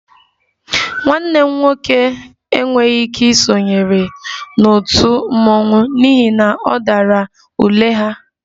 Nwanne m nwoke enweghị ike isonyere otu mmọnwụ n'ihi na ọ dara ule ha